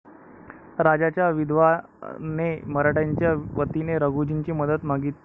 राजाच्या विधवाने मराठ्यांच्या वतीने रघुजींची मदत मागितली.